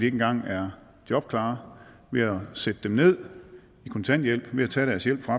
engang er jobklare ved at sætte dem ned i kontanthjælp ved at tage deres hjælp fra